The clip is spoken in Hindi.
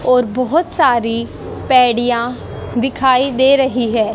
और बहोत सारी पैड़ियाँ दिखाई दे रही है।